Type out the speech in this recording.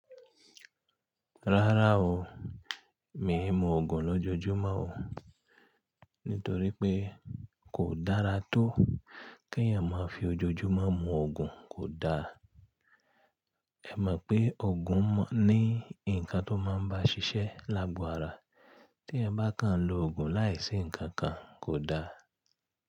Rárá o, mi ò mú òògùn lójojúmọ́ o, nítorí pé kò dára tó kí èèyàn máa fi ojoojúmọ́ mú òògùn, kò da. Ẹ mọ̀ pé òògùn ní nǹkan tó máa ń bá ṣiṣẹ́ lágo ara. Tí ẹ bá kan lo òògùn láìsí nǹkan kan kò da.